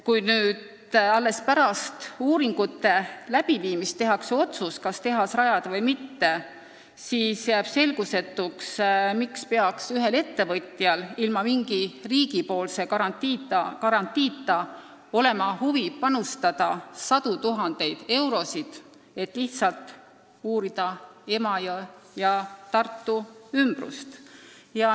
Kui alles pärast uuringute läbiviimist tehakse otsus, kas tehas rajada või mitte, siis jääb selgusetuks, miks peaks ühel ettevõtjal ilma mingi riigipoolse garantiita olema huvi panustada sadu tuhandeid eurosid, et lihtsalt uurida Emajõe ja Tartu ümbrust.